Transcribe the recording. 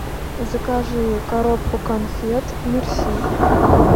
закажи коробку конфет мерси